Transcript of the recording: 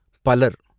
பலர்